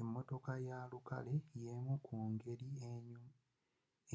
emmotoka ya lukale yemu ku ngeri